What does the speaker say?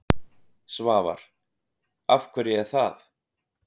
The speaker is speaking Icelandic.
Svavar: Af hverju er það?